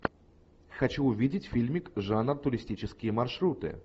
хочу увидеть фильмик жанр туристические маршруты